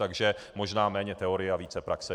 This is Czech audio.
Takže možná méně teorie a více praxe.